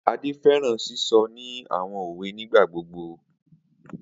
Ade fẹran sisọ ni awọn owe nigbagbogbo.